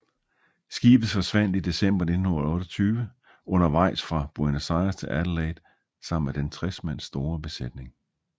Skibet forsvandt i december 1928 undervejs fra Buenos Aires til Adelaide sammen med den 60 mand store besætning